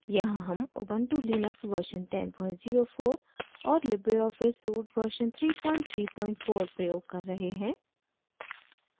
यहाँ हम ubuntu Linux version 1004 और लिबरे ऑफिस suite version 334 प्रयोग कर रहे हैं